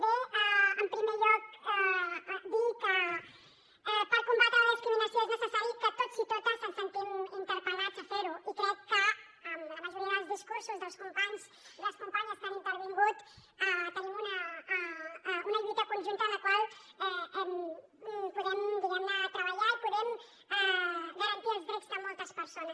bé en primer lloc dir que per combatre la discriminació és necessari que tots i totes ens sentim interpel·lats a fer ho i crec que amb la majoria dels discursos dels companys i les companyes que han intervingut tenim una lluita conjunta en la qual podem diguem ne treballar i podem garantir els drets de moltes persones